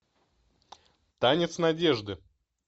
танец надежды